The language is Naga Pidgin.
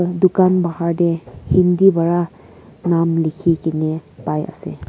dukan bahar dey hindi para nam likhi keney pai ase.